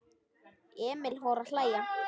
Emil fór að hlæja.